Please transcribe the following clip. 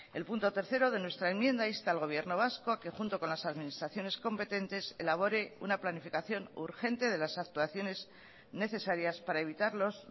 el punto tercero de nuestra enmienda insta al gobierno vasco a que junto con las administraciones competentes elabore una planificación urgente de las actuaciones necesarias para evitar los